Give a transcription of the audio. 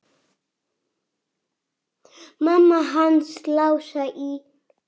Mamma hans Lása í